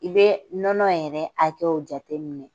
I bɛ nɔnɔ yɛrɛ hakɛw jateminɛ.